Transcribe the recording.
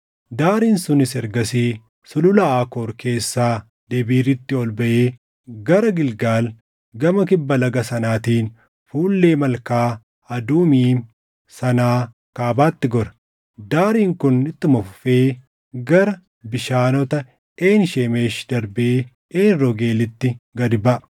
Daariin sunis ergasii Sulula Aakoor keessaa Debiiritti ol baʼee gara Gilgaal gama kibba laga sanaatiin fuullee Malkaa Adumiim sanaa kaabatti gora. Daariin kun ittuma fufee gara bishaanota Een Shemeshi darbee Een Roogeelitti gad baʼa.